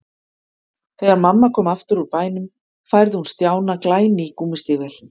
Þegar mamma kom aftur úr bænum færði hún Stjána glæný gúmmístígvél.